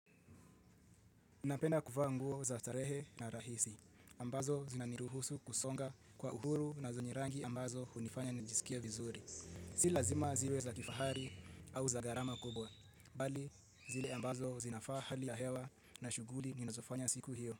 Napenda kuvaa nguo za starehe na rahisi ambazo zinaniruhusu kusonga kwa uhuru na zenye rangi ambazo hunifanya nijisikie vizuri. Si lazima ziwe za kifahari au za gharama kubwa, bali zile ambazo zinafaa hali ya hewa na shuguli ninazofanya siku hiyo.